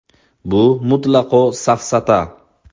Bu mutlaqo safsata.